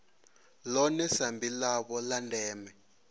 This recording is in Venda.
ḽone sambi ḽavho ḽa ndeme